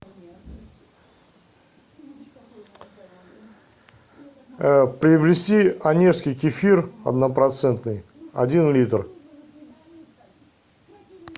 приобрести онежский кефир однопроцентный один литр